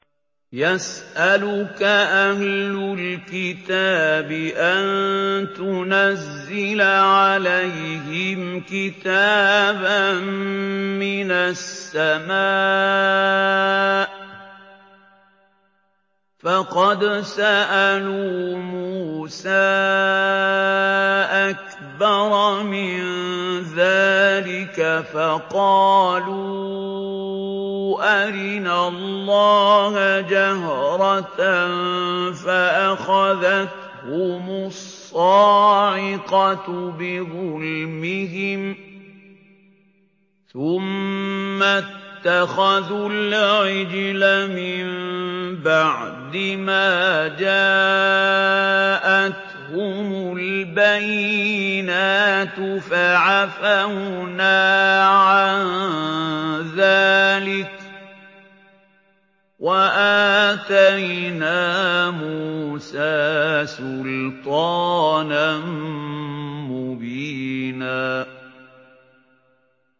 يَسْأَلُكَ أَهْلُ الْكِتَابِ أَن تُنَزِّلَ عَلَيْهِمْ كِتَابًا مِّنَ السَّمَاءِ ۚ فَقَدْ سَأَلُوا مُوسَىٰ أَكْبَرَ مِن ذَٰلِكَ فَقَالُوا أَرِنَا اللَّهَ جَهْرَةً فَأَخَذَتْهُمُ الصَّاعِقَةُ بِظُلْمِهِمْ ۚ ثُمَّ اتَّخَذُوا الْعِجْلَ مِن بَعْدِ مَا جَاءَتْهُمُ الْبَيِّنَاتُ فَعَفَوْنَا عَن ذَٰلِكَ ۚ وَآتَيْنَا مُوسَىٰ سُلْطَانًا مُّبِينًا